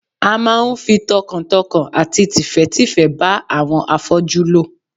A máa ń fi tọkàntọkàn àti tìfẹ́tìfẹ́ bá àwọn afọ́jú lò